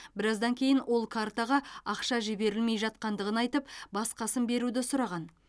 біраздан кейін ол картаға ақша жіберілмей жатқандығын айтып басқасын беруді сұраған